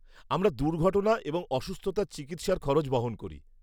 আমরা দুর্ঘটনা এবং অসুস্থতার চিকিৎসার খরচ বহন করি।